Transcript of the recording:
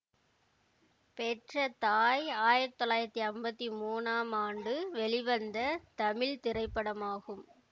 பெற்ற தாய் ஆயிரத்தி தொள்ளாயிரத்தி அம்பத்தி மூன்றாம் ஆண்டு வெளிவந்த தமிழ் திரைப்படமாகும்